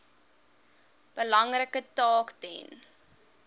belangrike taak ten